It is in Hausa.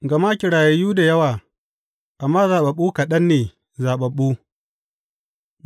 Gama kirayayu da yawa, amma zaɓaɓɓu kaɗan ne zaɓaɓɓu.